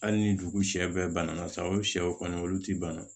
Hali ni dugu sɛ bɛɛ bana la saga o sɛw kɔni olu ti bana